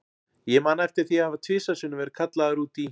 Ég man eftir því að hafa tvisvar sinnum verið kallaður út í